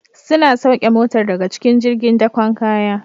Suna sauke Motar daga cikin jirgin dakon kaya